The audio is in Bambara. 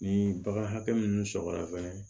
Ni bagan hakɛ mun sɔrɔ fɛnɛ